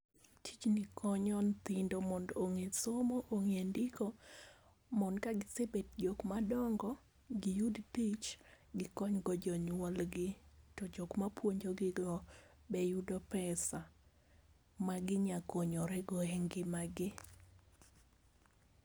Tijni konyo nyithindo mondo ong'e somo ong'e ndiko mond ka gisebet jok madongo giyud tich gikony go jonyuolgi to jokma puonjogi go be yudo pesa ma ginya konyore go e ngima gi.